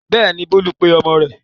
Bẹ́ẹ̀ni, Bólú pe ọmọ rẹ̀.